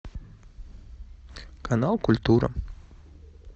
канал культура